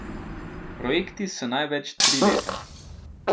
Projekti so največ tri leta.